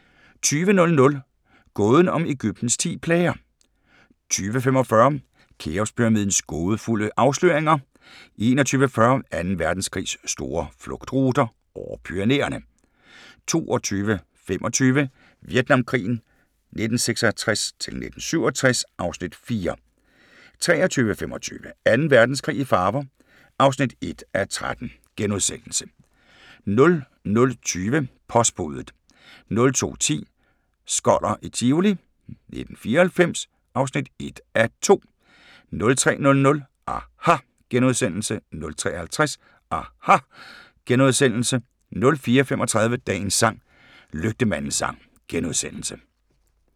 20:00: Gåden om Egyptens ti plager 20:45: Kheopspyramidens gådefulde afsløringer 21:40: Anden Verdenskrigs store flugtruter – over Pyrenæerne 22:25: Vietnamkrigen 1966-1967 (Afs. 4) 23:25: Anden Verdenskrig i farver (1:13)* 00:20: Postbudet 02:10: Skoller i Tivoli 1994 (1:2) 03:00: aHA! * 03:50: aHA! * 04:35: Dagens sang: Lygtemandens sang *